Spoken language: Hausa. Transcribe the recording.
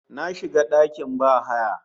Na shiga dakin bahaya